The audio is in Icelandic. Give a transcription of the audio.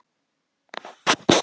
En um það töluðu ekki raddirnar.